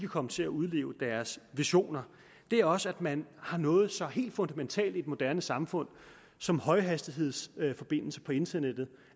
komme til at udleve deres visioner er også at man har noget så helt fundamentalt i et moderne samfund som højhastighedsforbindelse på internettet